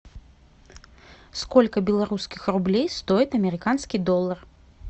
сколько белорусских рублей стоит американский доллар